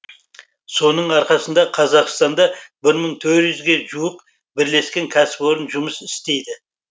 соның арқасында қазақстанда бір мың төрт жүзге жуық бірлескен кәсіпорын жұмыс істейді